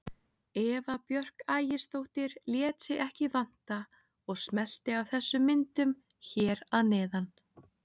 Eva Björk Ægisdóttir lét sig ekki vanta og smellti af þessum myndum hér að neðan.